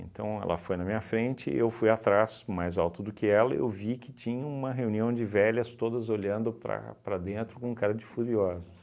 ela foi na minha frente e eu fui atrás, mais alto do que ela, e eu vi que tinha uma reunião de velhas todas olhando para para dentro com cara de furiosas.